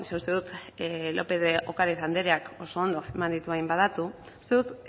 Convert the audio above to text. uste dut lópez de ocariz andereak oso ondo eman dituela hainbat datu uste dut